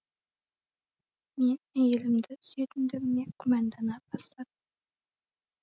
мен әйелімді сүйетіндігіме күмәндана бастадым